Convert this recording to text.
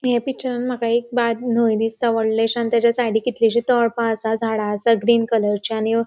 ये पिक्चरान मका न्हाइ दिसता वॉडलीशी आणि तताच्या साइडीक कितलीशी तळपा असा झाडा असा ग्रीन कलरची .